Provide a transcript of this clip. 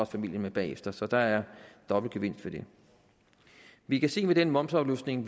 familien med bagefter så der er dobbeltgevinst ved det vi kan se med den momsafløftning